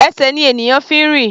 Ẹsẹ̀ ni ènìyàn fi ń rìn.